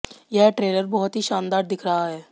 यह ट्रेलर बहुत ही शानदार दिख रहा है